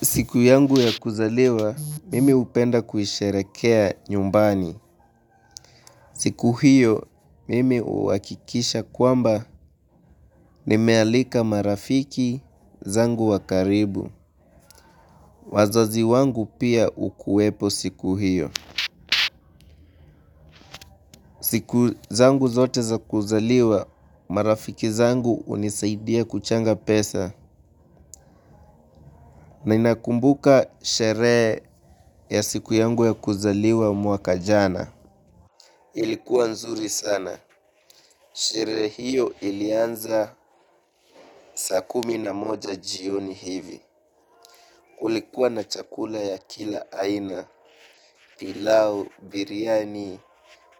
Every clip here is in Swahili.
Siku yangu ya kuzaliwa, mimi hupenda kuisherehekea nyumbani. Siku hiyo, mimi uhakikisha kwamba nimealika marafiki zangu wa karibu. Wazazi wangu pia ukuwepo siku hiyo. Siku zangu zote za kuzaliwa, marafiki zangu unisaidia kuchanga pesa. Na inakumbuka sherehe ya siku yangu ya kuzaliwa mwaka jana. Ilikuwa nzuri sana. Sherehe hio ilianza saa kumi na moja jioni hivi. Kulikuwa na chakula ya kila aina pilau biriyani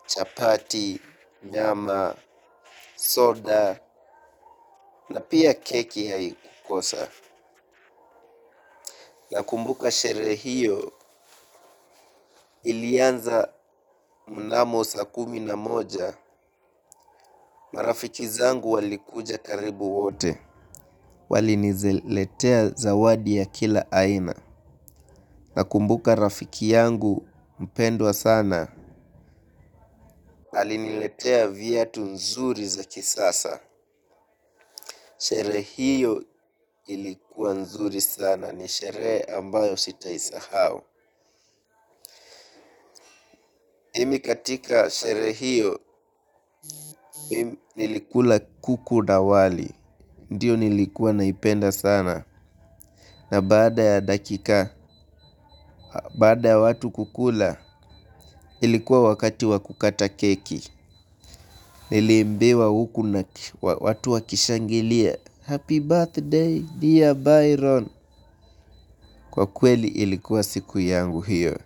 chapati nyama soda na pia keki haikukosa nakumbuka sherehe hiyo ilianza mnamo saa kumi na moja marafiki zangu walikuja karibu wote. Waliniziletea zawadi ya kila aina nakumbuka rafiki yangu mpendwa sana aliniletea viatu nzuri za kisasa sherehe hiyo ilikuwa nzuri sana ni sherehe ambayo sitaisahau mimi katika sherehe hiyo nilikula kuku na wali ndiyo nilikuwa naipenda sana na baada ya dakika baada ya watu kukula ilikuwa wakati wa kukata keki nilimbiwa huku na watu wakishangilia happy birthday dear Byron kwa kweli ilikuwa siku yangu hiyo.